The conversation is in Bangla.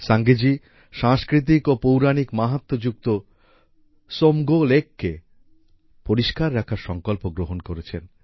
সাঙ্গে জি সাংস্কৃতিক ও পৌরাণিক মাহাত্ম্য যুক্ত ত্সমগো সোমগো lakeকে পরিষ্কার রাখার সংকল্প গ্রহণ করেছেন